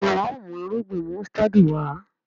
Béèni wón mú Irúgbìn músítádì Wá.